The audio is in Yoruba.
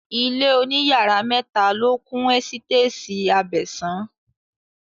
Ilé òní yàrá mẹ́ta ló kún ẹ́sítétì Abẹ̀sán